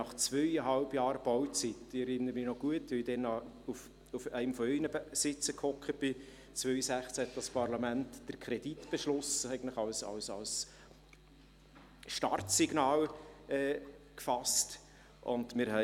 Ich erinnere mich gut – ich sass damals noch auf einem Ihrer Sitze –, als dieses Parlament, eigentlich als Startsignal, 2016 den Kreditbeschluss fasste.